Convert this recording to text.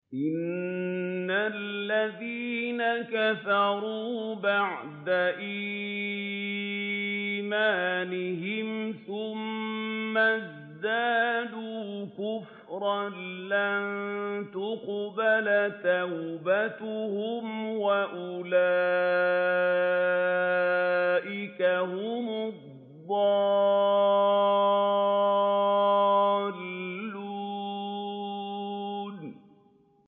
إِنَّ الَّذِينَ كَفَرُوا بَعْدَ إِيمَانِهِمْ ثُمَّ ازْدَادُوا كُفْرًا لَّن تُقْبَلَ تَوْبَتُهُمْ وَأُولَٰئِكَ هُمُ الضَّالُّونَ